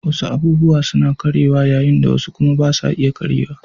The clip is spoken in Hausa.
Wasu abubuwa suna karyewa yayin da wasu kuma ba sa iya karyewa